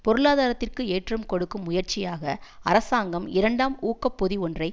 பொருளாதாரத்திற்கு ஏற்றம் கொடுக்கும் முயற்சியாக அரசாங்கம் இரண்டாம் ஊக்க பொதி ஒன்றை